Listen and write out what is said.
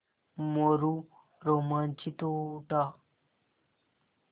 मोरू रोमांचित हो उठा